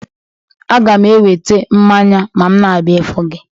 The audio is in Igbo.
A ga m eweta mmanya ma m na-abia ifu gi